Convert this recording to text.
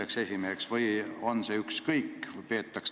Kas see on ükskõik?